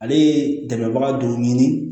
Ale ye dɛmɛbaga dɔ ɲini